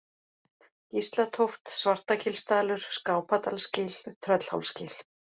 Gíslatóft, Svartagilsdalur, Skápadalsgil, Tröllhálsgil